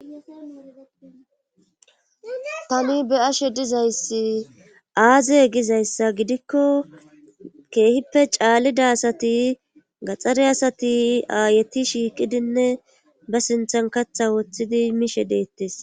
Tani be ashe dizayssi aaze gizayssa gidikko keehippe caallida asati gaxxare asati aayeti shiiqidinne ba sinthan katha woththidi mishe deettes